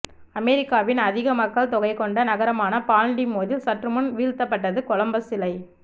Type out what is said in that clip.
அமெரிக்காவின் அதிக மக்கள் தொகை கொண்ட நகரமான பால்டிமோரில் சற்றுமுன் வீழ்த்தப்பட்டது கொலம்பஸ் சிலை